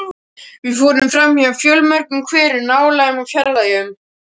Við fórum framhjá fjölmörgum hverum, nálægum og fjarlægum.